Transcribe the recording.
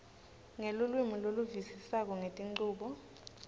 ngelulwimi loluvisisako ngetinchubo